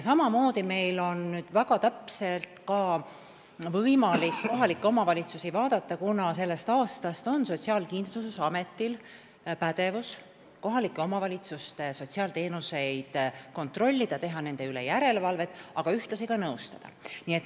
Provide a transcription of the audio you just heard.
Samamoodi on ka meil nüüd võimalik väga täpselt kohalike omavalitsuste tegevusi vaadata, kuna sellest aastast on Sotsiaalkindlustusametil pädevus, et kohalike omavalitsuste sotsiaalteenuseid kontrollida, nende üle järelevalvet teha, aga ühtlasi ka nõustada.